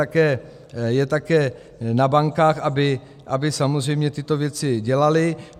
A je také na bankách, aby samozřejmě tyto věci dělaly.